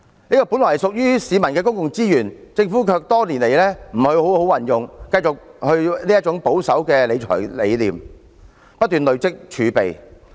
這些本來屬於市民的公共資源，政府卻多年來沒有好好運用，繼續維持保守的財政理念，不斷累積儲備。